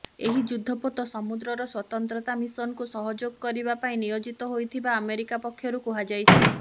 ଏହି ଯୁଦ୍ଧପୋତ ସମୁଦ୍ରର ସ୍ୱତନ୍ତ୍ରତା ମିଶନକୁ ସହଯୋଗ କରିବା ପାଇଁ ନିୟୋଜିତ ହୋଇଥିବା ଆମେରିକା ପକ୍ଷରୁ କୁହାଯାଇଛି